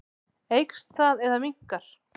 Eykst það eða minnkar?